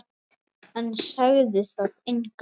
En sagði það engum.